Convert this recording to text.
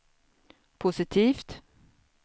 positivt